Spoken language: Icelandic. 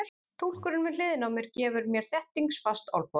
Túlkurinn við hliðina á mér gefur mér þéttingsfast olnbogaskot.